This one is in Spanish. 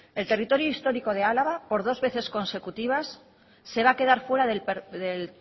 el territorio histórico de álava por dos veces consecutivas se va a quedar fuera del